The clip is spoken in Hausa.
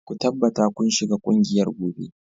Ku tabbata kun shiga kungiyar gobe